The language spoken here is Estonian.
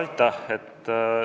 Aitäh!